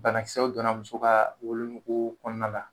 Banakisɛw donna muso ka wolonugu kɔnɔna na